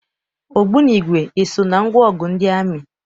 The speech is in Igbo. Ogbunigwe eso na ngwaọgụ ndị amị?